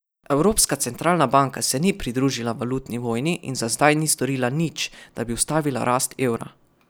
Evropska centralna banka se ni pridružila valutni vojni in za zdaj ni storila nič, da bi ustavila rast evra.